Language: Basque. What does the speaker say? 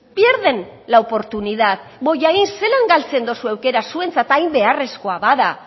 pierden la oportunidad bollain zelan galtzen duzue aukera zuentzat hain beharrezkoa bada